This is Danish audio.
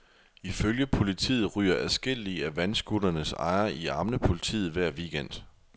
Ifølge politiet ryger adskillige af vandscooternes ejere i armene på politiet hver weekend.